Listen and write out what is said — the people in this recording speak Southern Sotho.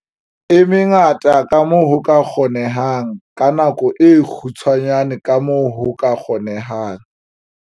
E mengata kamoo ho ka kgonehang ka nako e kgutshwane kamoo ho ka kgonehang.